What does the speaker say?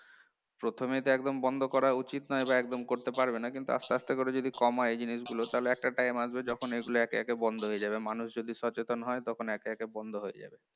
প্রথমে তো একদম বন্ধ করা উচিত নয় বা একদম করতে পারবে না কিন্তু আস্তে আস্তে করে যদি কমায় এই জিনিসগুলো তাহলে একটা time আসবে যখন এগুলো একে একে বন্ধ হয়ে যাবে মানুষ যদি সচেতন হয় তখন একে একে বন্ধ হয়ে যাবে